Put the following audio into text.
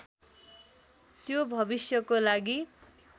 त्यो भविष्यको लागि